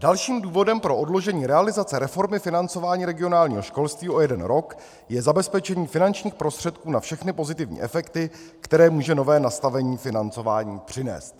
"Dalším důvodem pro odložení realizace reformy financování regionálního školství o jeden rok je zabezpečení finančních prostředků na všechny pozitivní efekty, které může nové nastavení financování přinést."